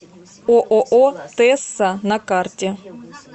ооо тэсса на карте